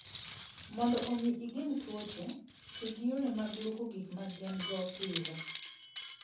Mondo omi igeng' tuoche, ti gi yore mag lwoko gik ma gin - go pile.